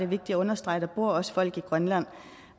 vigtigt at understrege at der også bor folk i grønland